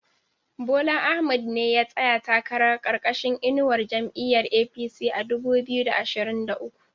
Bola Ahmad ne ya tsaya takara karkashin inuwar jam'iyar APC a dubu biyu da ashirin da uku